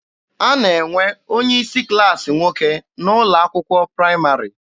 A na-enwe onye isi klaasị nwoke n'ụlọ akwụkwọ praịmarị.